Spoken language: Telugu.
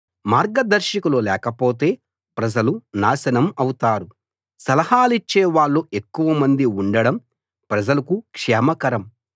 మార్గదర్శకులు లేకపోతే ప్రజలు నాశనం అవుతారు సలహాలిచ్చే వాళ్ళు ఎక్కువ మంది ఉండడం ప్రజలకు క్షేమకరం